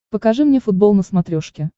покажи мне футбол на смотрешке